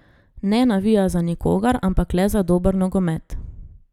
Ne navija za nikogar, ampak le za dober nogomet.